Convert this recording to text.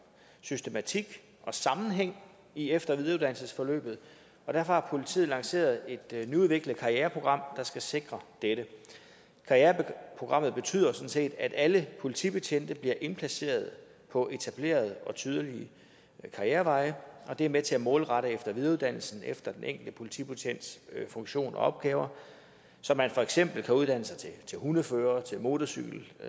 systematik og sammenhæng i efter og videreuddannelsesforløbet og derfor har politiet lanceret et nyudviklet karriereprogram der skal sikre dette karriereprogrammet betyder sådan set at alle politibetjente bliver indplaceret på etablerede og tydelige karriereveje og det er med til at målrette efter og videreuddannelsen efter den enkelte politibetjents funktion og opgaver så man for eksempel kan uddanne sig til hundefører til motorcykelbetjent